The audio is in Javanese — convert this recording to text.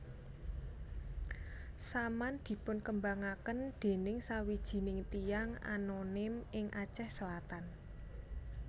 Saman dipunkembangaken dening sawijining tiyang anonim ing Aceh Selatan